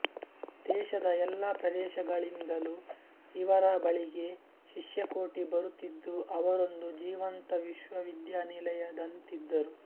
ದೇಶದ ಎಲ್ಲ ಪ್ರದೇಶಗಳಿಂದಲೂ ಇವರ ಬಳಿಗೆ ಶಿಷ್ಯಕೋಟಿ ಬರುತ್ತಿದ್ದು ಅವರೊಂದು ಜೀವಂತ ವಿಶ್ವವಿದ್ಯಾನಿಲಯದಂತಿದ್ದರು